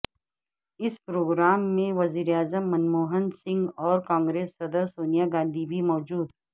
اس programme میں وزیر اعظم منموہن سنگھ اور کانگریس صدر سونیا گاندھی بھی موجود